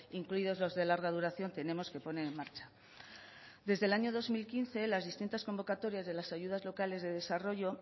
incluidos los de larga duración tenemos que poner en marcha desde el año dos mil quince las distintas convocatorias de las ayudas locales de desarrollo